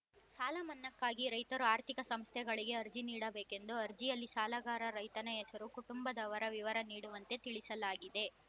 ಸಾಲ ಮನ್ನಾಕ್ಕಾಗಿ ರೈತರು ಆರ್ಥಿಕ ಸಂಸ್ಥೆಗಳಿಗೆ ಅರ್ಜಿ ನೀಡಬೇಕೆಂದು ಅರ್ಜಿಯಲ್ಲಿ ಸಾಲಗಾರ ರೈತನ ಹೆಸರು ಕುಟುಂಬದವರ ವಿವರ ನೀಡುವಂತೆ ತಿಳಿಸಲಾಗಿದೆ